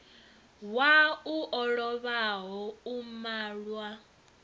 wau o lovhaho u malwa